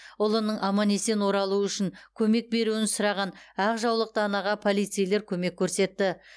ұлының аман есен оралуы үшін көмек беруін сұраған ақ жаулықты анаға полицейлер көмек көрсетті